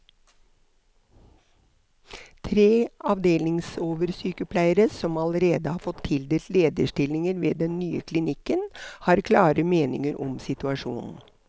Tre avdelingsoversykepleiere, som allerede har fått tildelt lederstillinger ved den nye klinikken, har klare meninger om situasjonen.